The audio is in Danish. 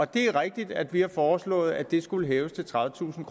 det er rigtigt at vi har foreslået at det skulle hæves til tredivetusind